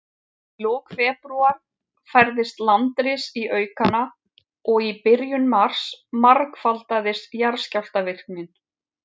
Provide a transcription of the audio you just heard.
Í lok febrúar færðist landris í aukana, og í byrjun mars margfaldaðist jarðskjálftavirknin.